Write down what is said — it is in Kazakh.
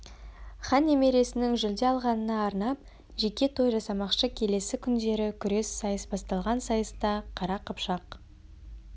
хан немересінің жүлде алғанына арнап жеке той жасамақшы келесі күндері күрес сайыс басталған сайыста қара қыпшақ